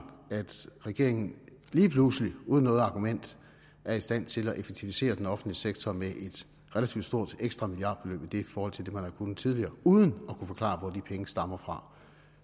regeringen lige pludselig uden noget argument er i stand til at effektivisere den offentlige sektor med et relativt stort ekstra milliardbeløb i forhold til det man har kunnet tidligere uden at kunne forklare hvor de penge stammer fra